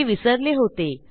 ते विसरले होतो